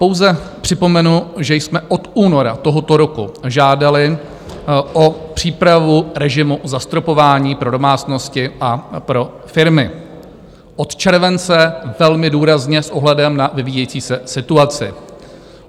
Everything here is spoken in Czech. Pouze připomenu, že jsme od února tohoto roku žádali o přípravu režimu zastropování pro domácnosti a pro firmy, od července velmi důrazně s ohledem na vyvíjející se situaci.